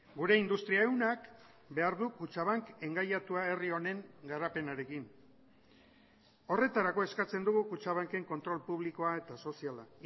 gure industria ehunak behar du kutxabank engaiatua herri honen garapenarekin horretarako eskatzen dugu kutxabanken kontrol publikoa eta soziala